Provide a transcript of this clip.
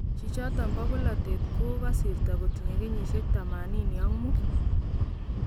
Chichoton bo bolateet kokasirta kontinye kenyisiek 85